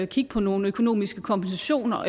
kigge på nogle økonomiske kompensationer